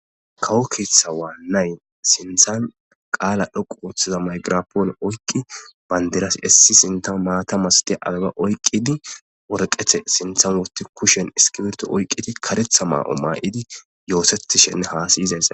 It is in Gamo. kawo keeththa waannayn sinthan qaala dhoqu ooththiza maygirapoon oykki bandiras essi sinta maatamas ti abeba oyqqidi worqethe sintha wooti kushen iskiberto oyqqidi karetha maa7o maa7idi yooseti shenne haasayizays